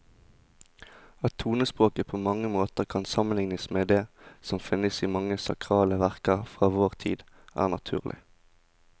At tonespråket på mange måter kan sammenlignes med det som finnes i mange sakrale verker fra vår tid, er naturlig.